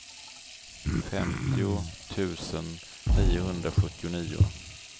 femtio tusen niohundrasjuttionio